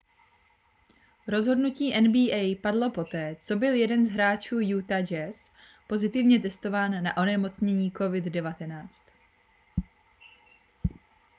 rozhodnutí nba padlo poté co byl jeden z hráčů utah jazz pozitivně testován na onemocnění covid-19